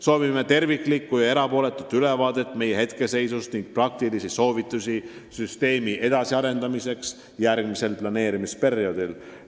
Soovime terviklikku ja erapooletut ülevaadet meie hetkeseisust ning praktilisi soovitusi süsteemi edasiarendamiseks järgmisel planeerimisperioodil.